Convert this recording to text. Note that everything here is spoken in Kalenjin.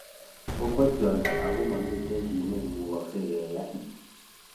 Kokwa Tiote ago momiten kit ne imugaksei keyai.